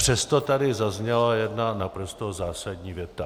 Přesto tady zazněla jedna naprosto zásadní věta.